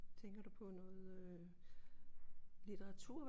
Tænker du på noget øh litteratur